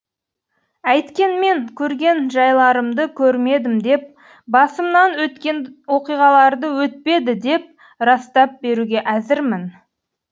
әйткенмен көрген жайларымды көрмедім деп басымнан өткен оқиғаларды өтпеді деп растап беруге әзірмін